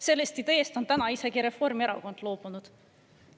Sellest ideest on täna isegi Reformierakond loobunud.